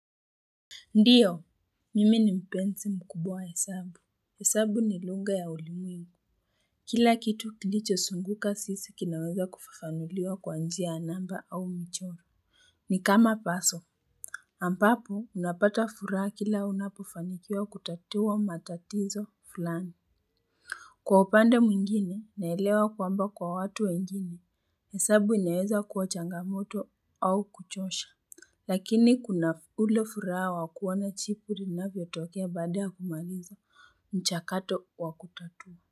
Ndiyo, mimi ni mpenzi mkubwa wa hesabu. Hesabu ni lugha ya ulimwengu. Kila kitu kilichozunguka sisi kinaweza kufafanuliwa kwa njia ya namba au mchoro. Ni kama puzzle. Ambapo, unapata furaha kila unapofanikiwa kutatua matatizo fulani. Kwa upande mwingine, naelewa kwamba kwa watu wengine, hesabu inaeza kuwa changamoto au kuchosha. Lakini kuna ule furaha wa kuona jibu linavyotokea baada ya kumaliza mchakato wa kutatua.